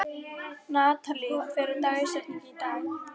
Natalí, hver er dagsetningin í dag?